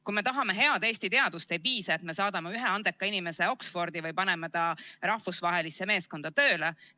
Kui me tahame head Eesti teadust, ei piisa, et me saadame ühe andeka inimese Oxfordi või paneme ta rahvusvahelisse meeskonda tööle.